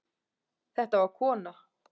Þetta var kona.